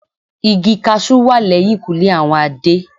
Igi cashew wà lẹ́yìnkùlé àwọn Adé.